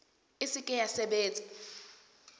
e se ke ya sebetsa